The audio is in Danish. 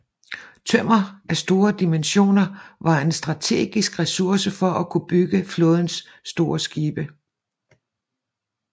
Tømmer af store dimensioner var en strategisk ressource for at kunne bygge flådens store skibe